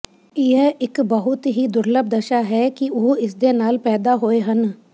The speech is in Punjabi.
ਇਹ ਇਕ ਬਹੁਤ ਹੀ ਦੁਰਲੱਭ ਦਸ਼ਾ ਹੈ ਕਿ ਉਹ ਇਸ ਦੇ ਨਾਲ ਪੈਦਾ ਹੋਏ ਹਨ